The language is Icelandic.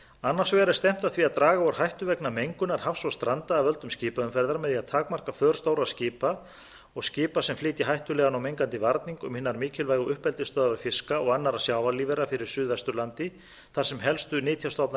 annars vegar er stefnt að því að draga úr hættu vegna mengunar hafs og stranda af völdum skipaumferðar með því að takmarka för stórra skipa og skipa sem flytja hættulegan og mengandi varning um hinar mikilvægu uppeldisstöðvar fiska og annarra sjávarlífvera fyrir suðvesturlandi þar sem helstu nytjastofnar